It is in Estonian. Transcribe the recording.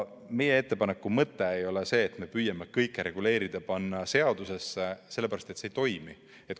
Meie ettepaneku mõte ei ole see, et me püüame kõike reguleerida ja panna seadusesse, sellepärast et see ei toimi.